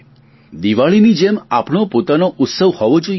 દિવાળીની જેમ આપણો પોતાનો ઉત્સવ હોવો જોઈએ